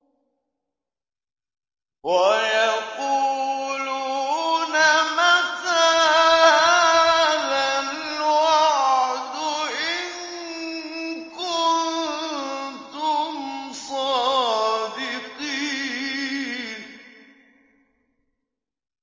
وَيَقُولُونَ مَتَىٰ هَٰذَا الْوَعْدُ إِن كُنتُمْ صَادِقِينَ